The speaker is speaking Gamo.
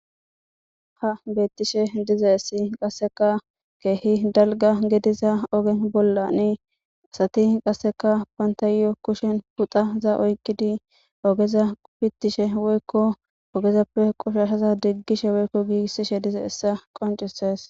Ha bettishe diizayssi qasseka kehi dalgga giddiza ogge bollan asati qasseka bantayo kushshen fixaza oyqqidi oggeza fitishshe woykko oggezappe qoshshashza diggishe woykko giggisishe dizayssi qonccisses.